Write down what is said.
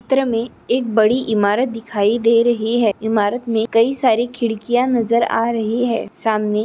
चित्र मे एक बड़ी इमारत दिखाई द रही है इमारत मे कई सारी खिड़किया नजर आ--